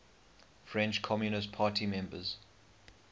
french communist party members